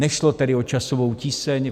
Nešlo tedy o časovou tíseň.